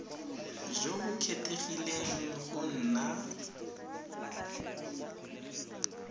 jo bo kgethegileng go nna